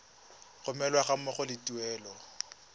romelwa ga mmogo le tuelo